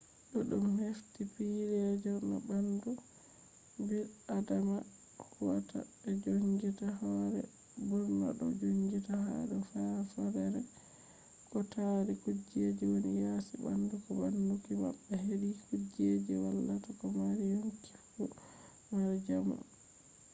duddum hefti pille je no bandu bil'adama huwata be joongita hoore burna do jonngita ha do faadorde ko tari kujejji woni yasi bandu bo baanuki mabbe hedi kujejji vallata ko mari yonki fu mara jamu